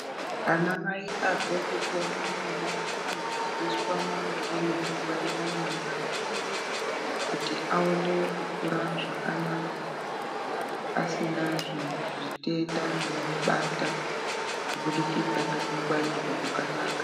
Ana mai abve kupona mwana anodzidziswa maringe nekungwarira mwana kuti aone kukura zvakanaka asina zvitenda zvinomubata kubudikidza ngekungwarirwa kwakanaka.